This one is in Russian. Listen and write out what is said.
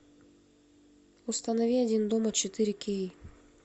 установи один дома четыре кей